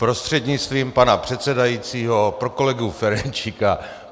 Prostřednictvím pana předsedajícího pro kolegu Ferjenčíka.